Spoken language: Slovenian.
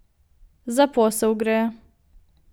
Za posel gre.